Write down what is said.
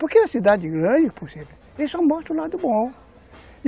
Porque é cidade grande, por exemplo, e só mostra o lado bom.